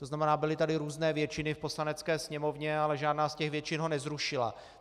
To znamená, byly tady různé většiny v Poslanecké sněmovně, ale žádná z těch většin ho nezrušila.